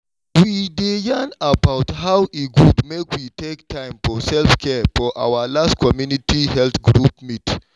we dey yarn about how e good make we take time for self-care for our last community health group meet.